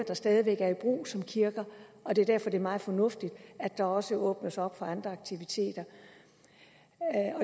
der stadig væk er i brug som kirker og det er derfor at det er meget fornuftigt at der også åbnes op for andre aktiviteter